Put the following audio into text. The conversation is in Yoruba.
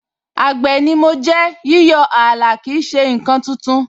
Àgbè ni mo jẹ́, yíyọ ààlà kì í ṣe ǹkan tuntun